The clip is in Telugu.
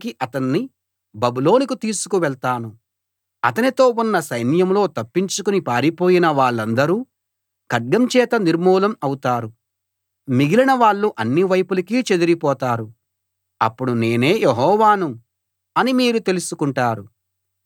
అతనితో ఉన్న సైన్యంలో తప్పించుకుని పారిపోయిన వాళ్ళందరూ ఖడ్గం చేత నిర్మూలం అవుతారు మిగిలిన వాళ్ళు అన్ని వైపులకీ చెదిరిపోతారు అప్పుడు నేనే యెహోవాను అని మీరు తెలుసుకుంటారు ఇది కచ్చితంగా జరుగుతుందని ప్రకటిస్తున్నాను